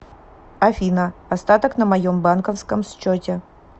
афина остаток на моем банковском счете